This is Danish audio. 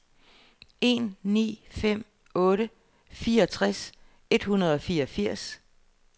en ni fem otte fireogtres et hundrede og fireogfirs